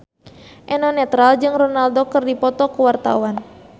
Eno Netral jeung Ronaldo keur dipoto ku wartawan